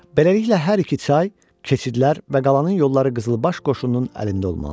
Beləliklə hər iki çay, keçidlər və qalanın yolları qızılbaş qoşununun əlində olmalıdır.